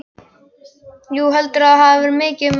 Jú, heldurðu að það verði mikið um að vera?